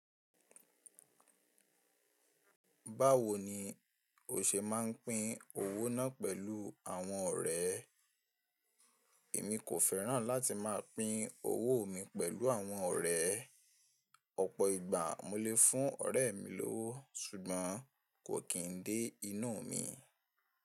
Báwo ni o ṣe máa ń pín owó náà pẹ̀lú àwọn ọ̀rẹ́? Èmi kò fẹ́ràn láti máa pín owó mi pẹ̀lú àwọn ọ̀rẹ́. Ọ̀pọ̀ ìgbà mo lè fún ọ̀rẹ́ mi lówó, ṣùgbọ́n kò kí n dé inú mi.